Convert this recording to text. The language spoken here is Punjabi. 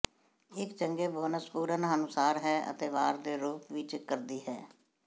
ਇੱਕ ਚੰਗੇ ਬੋਨਸ ਪੂਰਨ ਅਨੁਸਾਰ ਹੈ ਅਤੇ ਵਾਰ ਦੇ ਰੂਪ ਵਿੱਚ ਕਰਦੀ ਹੈ